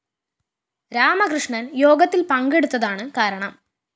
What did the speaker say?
രാമകൃഷ്ണന്‍ യോഗത്തില്‍ പങ്കെടുത്തതാണ്‌ കാരണം